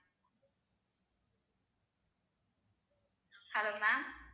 hello ma'am